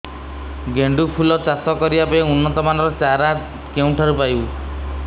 ଗେଣ୍ଡୁ ଫୁଲ ଚାଷ କରିବା ପାଇଁ ଉନ୍ନତ ମାନର ଚାରା କେଉଁଠାରୁ ପାଇବୁ